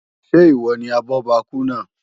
Ṣé ìwọ ni abọ́bakú náà?